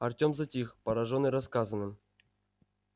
артём затих поражённый рассказанным